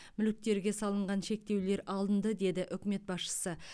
мүліктерге салынған шектеулер алынды деді үкімет басшысы